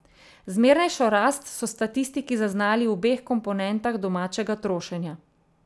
Zmernejšo rast so statistiki zaznali v obeh komponentah domačega trošenja.